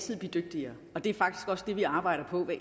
mit